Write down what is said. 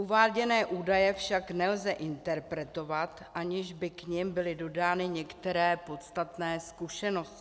Uváděné údaje však nelze interpretovat, aniž by k nim byly dodány některé podstatné skutečnosti.